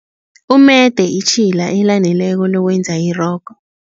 Umede itjhila elaneleko lokwenza irogo.